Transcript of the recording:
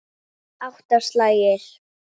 Átta slagir.